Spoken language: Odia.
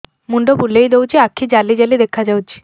ମୁଣ୍ଡ ବୁଲେଇ ଦଉଚି ଆଖି ଜାଲି ଜାଲି ଦେଖା ଯାଉଚି